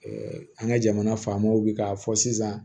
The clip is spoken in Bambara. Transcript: an ka jamana faamaw bi k'a fɔ sisan